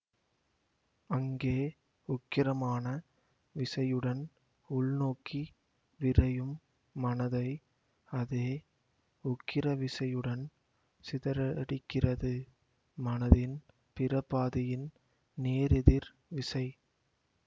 அங்கே உக்கிரமான விசையுடன் உள்நோக்கி விரையும் மனதை அதே உக்கிர விசையுடன் சிதறடிக்கிறது மனதின் பிற பாதியின் நேர் எதிர் விசை